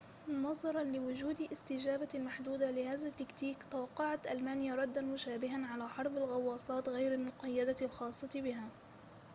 نظراً لوجود استجابة محدودة لهذا التكتيك توقعت ألمانيا رداً مشابهاً على حرب الغواصات غير المقيدة الخاصة بها